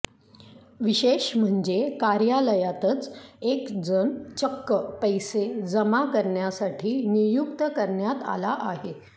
विशेष म्हणजे कार्यालयातच एक जण चक्क पैसे जमा करण्यासाठी नियुक्त करण्यात आला आहे